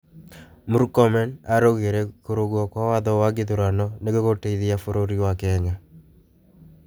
Mũrkomen araugĩre, kurungwo kwa watho wa gĩthurano nĩgũgũteĩthia bũrũrĩ wa Kenya